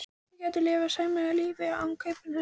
Þau gætu lifað sæmilegu lífi af kaupinu hans einu.